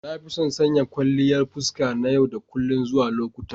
Na fi son sanya kwalliyan fuska na yau da kullun zuwa lokuta.